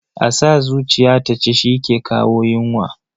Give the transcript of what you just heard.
A sa zuciya ta ci shi ke kawo yunwa.